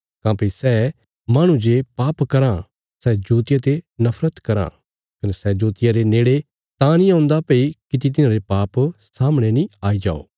काँह्भई सै माहणु जे पाप कराँ सै जोतिया ते नफरत कराँ कने सै जोतिया रे नेड़े तां नीं औन्दा भई किति तिन्हारे पाप सामणे नीं आई जो